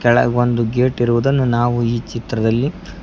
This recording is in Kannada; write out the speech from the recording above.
ಕೆಳಗೊಂದು ಗೇಟ್ ಇರುವುದನ್ನು ನಾವು ಈ ಚಿತ್ರದಲ್ಲಿ--